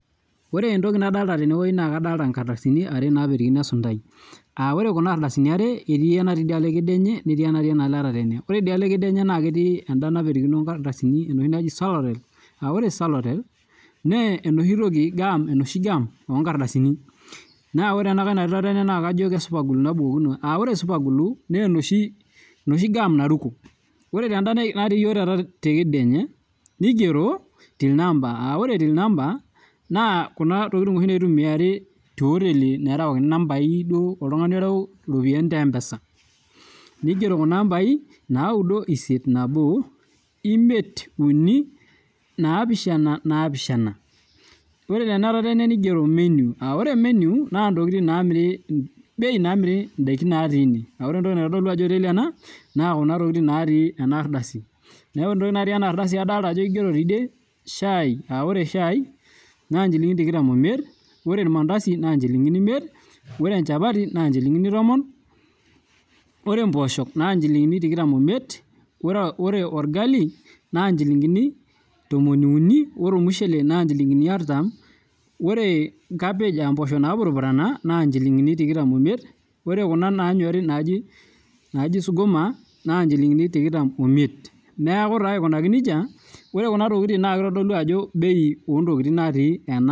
Ore entoki nadolita tenewueji naa kadolita nkardasini are napetokino esuntai ore Kuna ardasini are etii enitii enaloo ekeduanye netii enatii tatene ore ediolo ekeduanye netii enoshi napetokino sorale aa ore soarale naa enoshi gum onkardasini naa ore ena natii tatene naa kajo super glue napetokino aa ore super glue naa enoshi gum naruko ore tedaa natii iyiok tekedianye nigero till number aa ore till number naa ntokitin oshi naitumiai tee oteli nerewakini nambai duo oltung'ani orewu eropiani te mpesa ore Tena etataene nigero menu aa ore menu naa ntokitin bei namiri ntokitin natii ene aa ore entoki naitodolu Ajo oteli ena naa ntokitin natii ena ardasi neeku ore ntokitin natii ena ardasi adolita Ajo kigero tidie shai naa njilingini tikitam omiet ore ormandasi naa njilingini tomon neeku taa aikunaki nejia naa kitodolu Ajo bei oo ntokitin natii